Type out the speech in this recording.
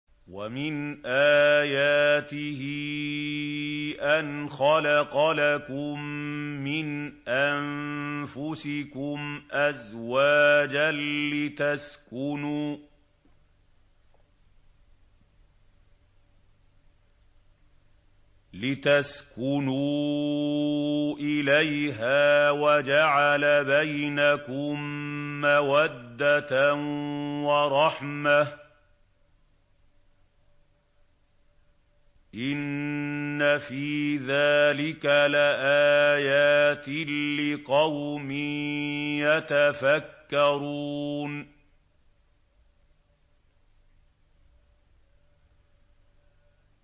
وَمِنْ آيَاتِهِ أَنْ خَلَقَ لَكُم مِّنْ أَنفُسِكُمْ أَزْوَاجًا لِّتَسْكُنُوا إِلَيْهَا وَجَعَلَ بَيْنَكُم مَّوَدَّةً وَرَحْمَةً ۚ إِنَّ فِي ذَٰلِكَ لَآيَاتٍ لِّقَوْمٍ يَتَفَكَّرُونَ